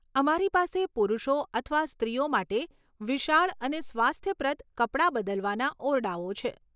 અમારી પાસે પુરુષો અથવા સ્ત્રીઓ માટે વિશાળ અને સ્વાસ્થ્યપ્રદ કપડાં બદલવાના ઓરડાઓ છે.